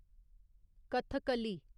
Kathakali